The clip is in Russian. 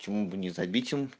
почему бы не забить им